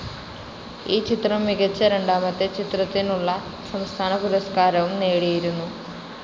ഈ ചിത്രം മികച്ച രണ്ടാമത്തെ ചിത്രത്തിനുള്ള സംസ്ഥാനപുരസ്‌കാരവും നേടിയിരുന്നു.